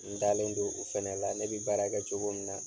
N dalen don u fɛnɛ la, ne bi baara kɛ cogo min na